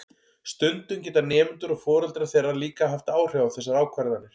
Stundum geta nemendur og foreldrar þeirra líka haft áhrif á þessar ákvarðanir.